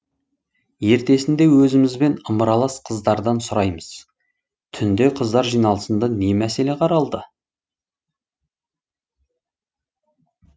ертесінде өзімізбен ымыралас қыздардан сұраймыз түнде қыздар жиналысында не мәселе қаралды